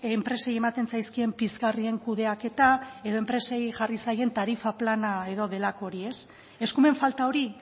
enpresei ematen zaizkien pizgarrien kudeaketa edo enpresei jarri zaien tarifa plana edo delako hori ez eskumen falta hori